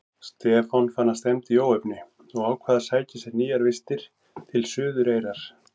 Stefán fann að stefndi í óefni og ákvað að sækja nýjar vistir til Suðureyrar.